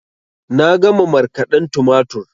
Na gama markaden tumatur